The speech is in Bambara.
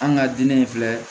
An ka diinɛ in filɛ